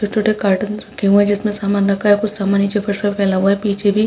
छोट छोटे कार्टून रखे हुए है जिसमे समान रखा है और कुछ समान नीचे फर्श पर फैला हुआ है पीछे भी।